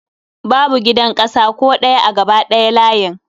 Babu gidan ƙasa ko ɗaya a gaba ɗaya layin